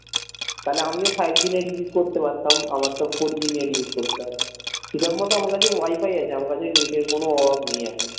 তাহলে আমিও five g net use করতে পারতাম আমার তো four g net use করতে হয় হিসাব মতো আমার কাছে wifi আছে আমার কাছে net এর কোনো অভাব নেই এখন